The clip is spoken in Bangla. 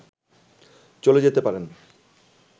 চলে যেতে পারেন”